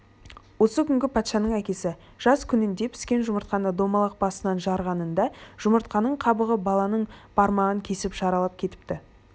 осы күнгі патшаның әкесі жас күнінде піскен жұмыртқаны домалақ басынан жарғанында жұмыртқаның қабығы баланың бармағын кесіп жаралап кетіпті